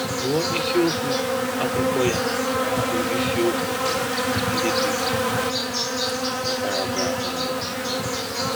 Gụọ isiokwu akwụkwọ ya bụ isiokwu ndị dị na paragrafị mbụ.